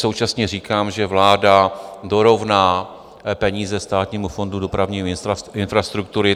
Současně říkám, že vláda dorovná peníze Státnímu fondu dopravní infrastruktury.